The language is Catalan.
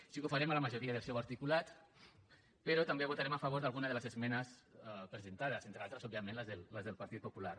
sí que ho farem a la majoria del seu articulat però també votarem a favor d’alguna de les esmenes presentades entre altres òbviament les del partit popular